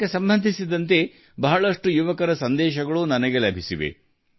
ಅನೇಕ ಯುವಕರಿಂದ ನನಗೆ ಈ ಸಂಬಂಧ ಸಂದೇಶಗಳು ಬಂದಿವೆ